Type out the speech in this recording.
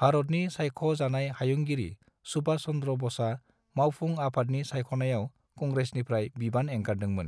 भारतनि सायख' जानाय हायुंगिरि सुभाष चंद्र ब'सआ मावफुं आफादनि सायख'नायाव कंग्रेसनिफ्राय बिबान एंगारदों मोन।